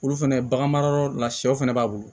Olu fɛnɛ baganmara yɔrɔ la sɛw fɛnɛ b'a bolo